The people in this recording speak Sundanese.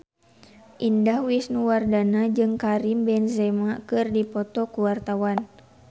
Indah Wisnuwardana jeung Karim Benzema keur dipoto ku wartawan